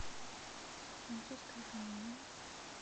французская комедия